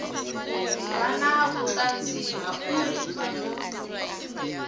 vha na vhuṱanzi ha uri